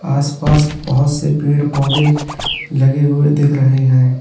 आसपास बहुत से पेड़ पौधे लगे हुए दिख रहे हैं।